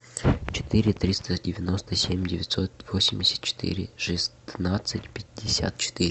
четыре триста девяносто семь девятьсот восемьдесят четыре шестнадцать пятьдесят четыре